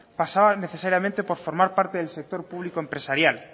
pasaba necesariamente por formar parte del sector público empresarial